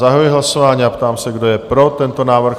Zahajuji hlasování a ptám se, kdo je pro tento návrh?